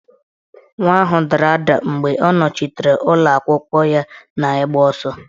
Nwa ahụ dara ada mgbe ọ nọchitere ụlọakwụkwọ ya n'igba ọsọ